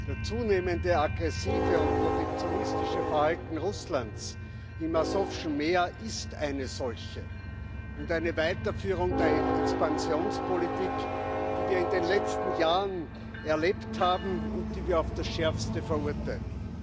Das zunehmend aggressive und protektionistische Verhalten Russlands im Asowschen Meer ist eine solche und eine Weiterführung der Expansionspolitik, die wir in den letzten Jahren erlebt haben und die wir auf das Schärfste verurteilen.